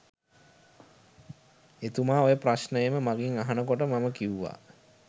එතුමා ඔය ප්‍රශ්නයම මගෙන් අහන කොට මම කිව්වා